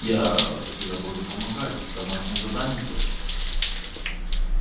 я тебе буду помогать домашнее задание делать